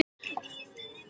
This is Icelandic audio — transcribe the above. Það var í tvö ár.